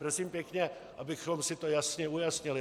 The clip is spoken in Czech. Prosím pěkně, abychom si to jasně ujasnili.